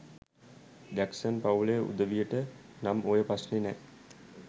Jackson පවුලෙ උදවියට නං ඔය ප්‍රශ්නෙ නෑ